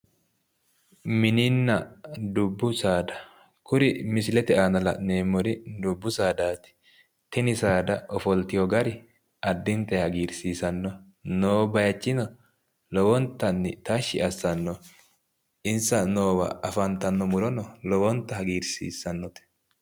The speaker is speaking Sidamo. Mininna dubbu saada, kuri misilete aana la'neemmori dubbu saadaati tini saada ofolteewo gari addintay hagiirsiissannoho noo bayiichino lowontay tashshi assannoho, insa noo bayiicho afantanno murono lowontay hagiirsiissannote.